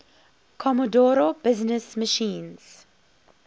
commodore business machines